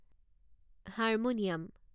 harmonium